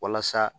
Walasa